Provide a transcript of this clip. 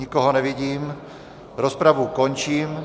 Nikoho nevidím, rozpravu končím.